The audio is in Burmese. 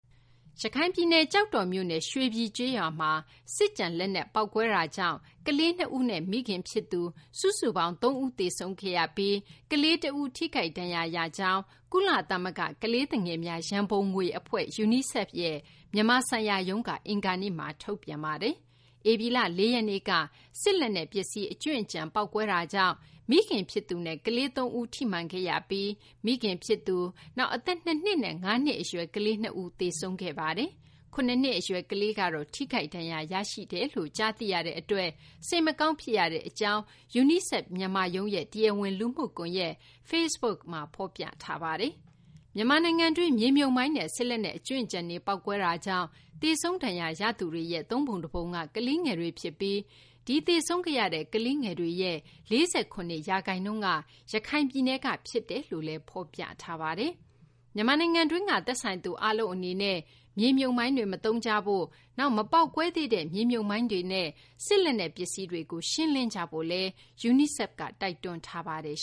ရခိုင်ပြည်နယ် ကျောက်တော်မြို့နယ် ရွှေပြည် ကျေးရွာမှာ စစ်ကျန် လက်နက် ပေါက်ကွဲတာကြောင့် ကလေး ၂ ဦးနဲ့ မိခင် ဖြစ်သူ စုစုပေါင်း ၃ ဦး သေဆုံးခဲ့ရပြီး ကလေး တဦး ထိခိုက်ဒဏ်ရာ ရခဲ့ကြောင်း ကုလသမဂ္ဂ ကလေးသူငယ်များ ရန်ပုံငွေ အဖွဲ့ UNICEF ရဲ့ မြန်မာဆိုင်ရာရုံးက အင်္ဂါနေ့မှာ ထုတ်ပြန်ထားပါတယ်။ ဧပြီလ ၄ ရက်နေ့က စစ်လက်နက် ပစ္စည်း အကြွင်းအကျန် ပေါက်ကွဲတာကြောင့် မိခင်ဖြစ်သူနဲ့ ကလေး ၃ ဦး ထိမှန်ခဲ့ရပြီး မိခင်ဖြစ်သူ၊ နောက် အသက် ၂ နှစ်နဲ့ ၅ နှစ် အရွယ် ကလေး ၂ ဦး သေဆုံးခဲ့ရပါတယ်။ ၇ နှစ် အရွယ် ကလေးကတော့ ထိခိုက်ဒဏ်ရာ ရရှိကြောင်း ကြားသိရတဲ့ အတွက် စိတ်မကောင်း ဖြစ်ရကြောင်း UNICEF မြန်မာရုံးရဲ့ တရားဝင် လူမှုကွန်ရက် Facebook မှာ ဖော်ပြထားပါတယ်။ မြန်မာနိုင်ငံတွင်း မြေမြှုပ်မိုင်းနဲ့ စစ်လက်နက် အကြွင်းအကျန်တွေ ပေါက်ကွဲတာကြောင့် သေဆုံး ဒဏ်ရာရသူတွေရဲ့ သုံးပုံ တပုံက လေးငယ်တွေ ဖြစ်ပြီး သေဆုံးရတဲ့ ကလေးငယ်တွေရဲ့ ၄၇ ရာခိုင်နှုန်းက ရခိုင်ပြည်နယ်က ဖြစ်ကြောင်းလည်း ဖော်ပြပါတယ်။ မြန်မာနိုင်ငံတွင်းက သက်ဆိုင်သူ အားလုံး အနေနဲ့ မြေမြှုပ်မိုင်းတွေ မသုံးကြဖို့၊ နောက် မပေါက်ကွဲသေးတဲ့ မြေမြှုပ်မိုင်းတွေနဲ့ စစ်လက်နက် ပစ္စည်းတွေကို ရှင်းလင်းကြဖို့လည်း UNICEF က တိုက်တွန်းထားပါတယ်